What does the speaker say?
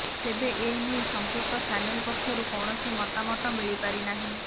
ତେବେ ଏ ନେଇ ସମ୍ପୃକ୍ତ ଚ୍ୟାନେଲ ପକ୍ଷରୁ କୌଣସି ମତାମତ ମିଳିପାରିନାହିଁ